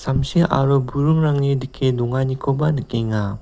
samsi aro buringrangni dike donganikoba nikenga.